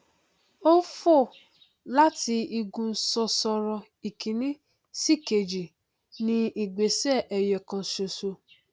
ó fò láti igun sosoro ìkíní sí ìkejì ní ìgbésẹ ẹyọọkan ṣoṣo